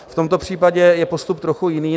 V tomto případě je postup trochu jiný.